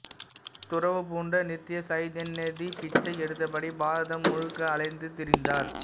துறவு பூண்ட நித்ய சைதன்ய யதி பிச்சை எடுத்தபடி பாரதம் முழுக்க அலைந்து திரிந்தார்